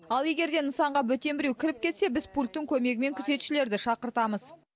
ал егер де нысанға бөтен біреу кіріп кетсе біз пульттің көмегімен күзетшілерді шақыртамыз